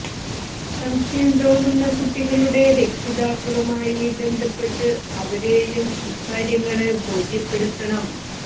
സംശയം തോന്നുന്ന കുട്ടികളുടെ രക്ഷിതാക്കളുമായി ബന്ധപ്പെട്ട് അവരെയും ഇക്കാര്യങ്ങള് ബോധപ്പെടുത്തണം